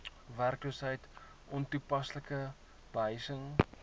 werkloosheid ontoepaslike behuising